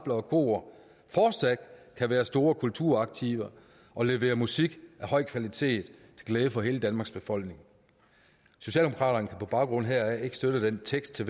og kor fortsat kan være store kulturaktiver og levere musik af høj kvalitet til glæde for hele danmarks befolkning socialdemokraterne kan på baggrund heraf ikke støtte teksten